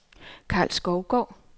Karl Skovgaard